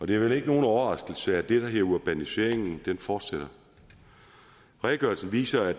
det er vel ikke nogen overraskelse at det der hedder urbaniseringen fortsætter redegørelsen viser at